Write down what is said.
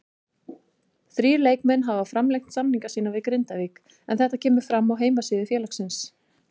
Þrír leikmenn hafa framlengt samninga sína við Grindavík en þetta kemur fram á heimasíðu félagsins.